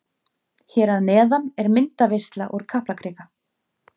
Hér að neðan er myndaveisla úr Kaplakrika.